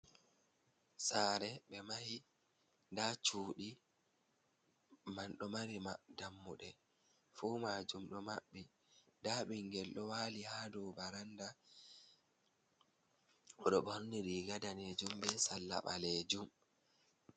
Saare ɓe mahi nda cuɗi man ɗo mari mab dammuɗe, fuu majum ɗo maɓɓic, nda ɓingel ɗo wali ha dou varanda ɗo borniri, riga danejum be salla ɓalejum.